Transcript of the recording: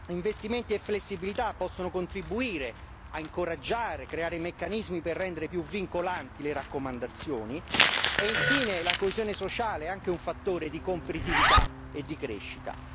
Investimenti e flessibilità possono contribuire a incoraggiare, creare meccanismi per rendere più vincolanti le raccomandazioni e infine la coesione sociale, è anche un fattore di competitività e di crescita.